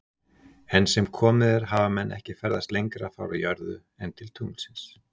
Enn sem komið er hafa menn ekki ferðast lengra frá jörðu en til tunglsins.